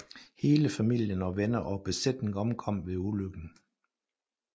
Hele familien og venner og besætning omkom ved ulykken